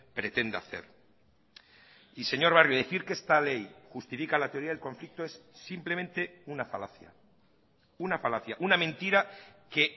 pretende hacer y señor barrio decir que esta ley justifica la teoría del conflicto es simplemente una falacia una falacia una mentira que